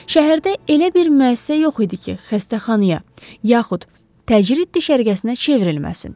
Şəhərdə elə bir müəssisə yox idi ki, xəstəxanaya, yaxud təcrid düşərgəsinə çevrilməsin.